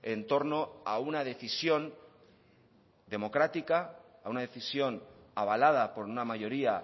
en torno a una decisión democrática a una decisión avalada por una mayoría